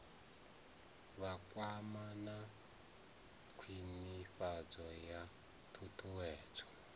vhakwama na khwinifhadzo ya ṱhuṱhuwedzo